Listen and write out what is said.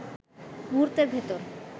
মুহূর্তের ভেতর